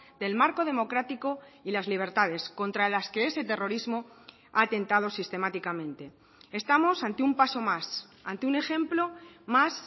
del marco democrático y las libertades contra las que ese terrorismo ha atentado sistemáticamente estamos ante un paso más ante un ejemplo más